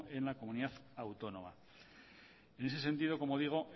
en la comunidad autónoma en ese sentido como digo